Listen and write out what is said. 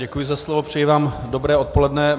Děkuji za slovo, přeji vám dobré odpoledne.